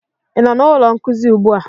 ị nọ na ụlọ nkuzi ugbu a?